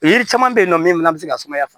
Yiri caman bɛ yen nɔ min fana bɛ se ka sumaya fa